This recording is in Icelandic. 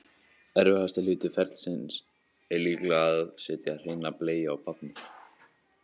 Erfiðasti hluti ferlisins er líklega að setja hreina bleiu á barnið.